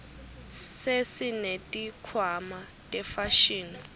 sesineti khwama tefashini